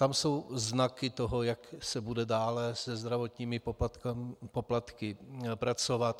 Tam jsou znaky toho, jak se bude dále se zdravotními poplatky pracovat.